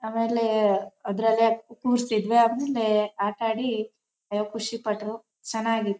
ಆಮೇಲೆ ಅದರಲ್ಲೇ ಕೂರ್ಸಿದ್ರೆ ಆಮೇಲೆ ಆಟ ಆಡಿ ಖುಷಿ ಪಟ್ರು ಚೆನ್ನಾಗಿಯಿತ್ತು.